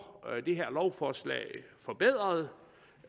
lovforslaget forbedret